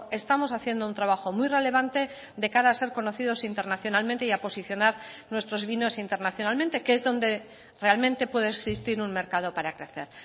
estamos haciendo un trabajo muy relevante de cara a ser conocidos internacionalmente y a posicionar nuestros vinos internacionalmente que es donde realmente puede existir un mercado para crecer